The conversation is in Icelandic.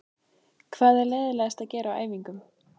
Hvað er leiðinlegast að gera á æfingum?